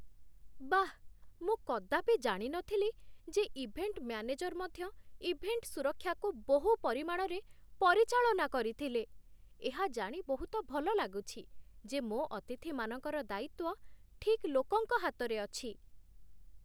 ବାଃ, ମୁଁ କଦାପି ଜାଣିନଥିଲି ଯେ ଇଭେଣ୍ଟ୍ ମ୍ୟାନେଜର୍ ମଧ୍ୟ ଇଭେଣ୍ଟ୍ ସୁରକ୍ଷାକୁ ବହୁ ପରିମାଣରେ ପରିଚାଳନା କରିଥିଲେ! ଏହା ଜାଣି ବହୁତ ଭଲ ଲାଗୁଛି ଯେ ମୋ ଅତିଥିମାନଙ୍କର ଦାୟିତ୍ୱ ଠିକ୍ ଲୋକଙ୍କ ହାତରେ ଅଛି।